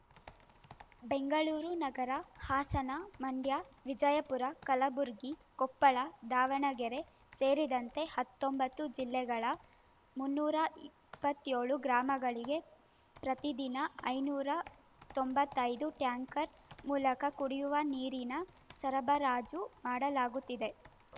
ಬೆಂಗಳೂರು ನಗರ ಹಾಸನ ಮಂಡ್ಯ ವಿಜಯಪುರ ಕಲಬುರಗಿ ಕೊಪ್ಪಳ ದಾವಣಗೆರೆ ಸೇರಿದಂತೆ ಹತ್ತೊಂಬತ್ತು ಜಿಲ್ಲೆಗಳ ಮುನ್ನೂರ ಇಪ್ಪತ್ಯೋಳು ಗ್ರಾಮಗಳಿಗೆ ಪ್ರತಿದಿನ ಐನೂರ ತೊಂಬತ್ತೈದು ಟ್ಯಾಂಕರ್ ಮೂಲಕ ಕುಡಿಯುವ ನೀರಿನ ಸರಬರಾಜು ಮಾಡಲಾಗುತ್ತಿದೆ